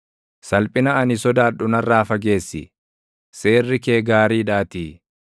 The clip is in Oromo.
Salphina ani sodaadhu narraa fageessi; seerri kee gaariidhaatii.